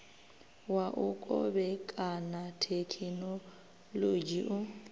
wa u kovhekana thekhinolodzhi u